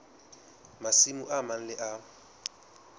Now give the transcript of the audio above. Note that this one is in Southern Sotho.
masimo a mang le a